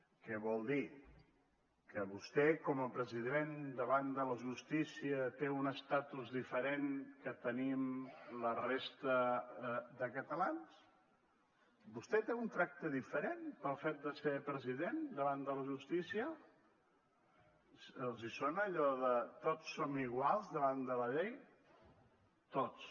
què vol dir que vostè com a president davant de la justícia té un estatus diferent del que tenim la resta de catalans vostè té un tracte diferent pel fet de ser president davant de la justícia els sona allò de tots som iguals davant de la llei tots